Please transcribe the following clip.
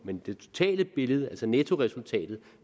men det totale billede altså nettoresultatet